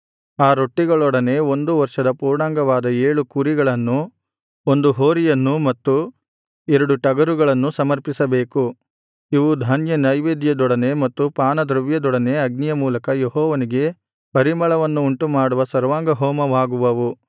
ಆ ರೊಟ್ಟಿಗಳೊಡನೆ ಒಂದು ವರ್ಷದ ಪೂರ್ಣಾಂಗವಾದ ಏಳು ಕುರಿಗಳನ್ನು ಒಂದು ಹೋರಿಯನ್ನು ಮತ್ತು ಎರಡು ಟಗರುಗಳನ್ನು ಸಮರ್ಪಿಸಬೇಕು ಇವು ಧಾನ್ಯದ್ರವ್ಯದೊಡನೆ ಮತ್ತು ಪಾನದ್ರವ್ಯದೊಡನೆ ಅಗ್ನಿಯ ಮೂಲಕ ಯೆಹೋವನಿಗೆ ಪರಿಮಳವನ್ನು ಉಂಟುಮಾಡುವ ಸರ್ವಾಂಗಹೋಮವಾಗುವವು